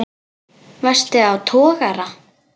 Varstu á togara?